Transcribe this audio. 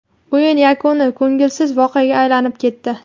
O‘yin yakuni ko‘ngilsiz voqeaga aylanib ketdi.